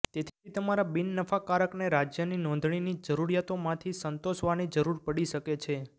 તેથી તમારા બિનનફાકારકને રાજ્યની નોંધણીની જરૂરિયાતોમાંથી સંતોષવાની જરૂર પડી શકે છે